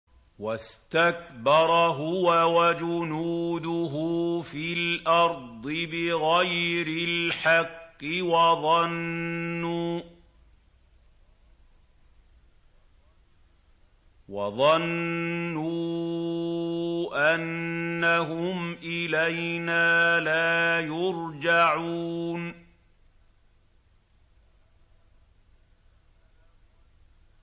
وَاسْتَكْبَرَ هُوَ وَجُنُودُهُ فِي الْأَرْضِ بِغَيْرِ الْحَقِّ وَظَنُّوا أَنَّهُمْ إِلَيْنَا لَا يُرْجَعُونَ